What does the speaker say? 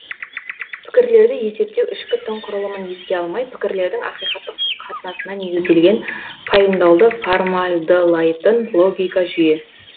пікірлерді есептеу ішкі тың құрылымын еске алмай пікірлердің ақиқаттық қатынасына негізделген пайымдауды формалдылайтын логика жүйе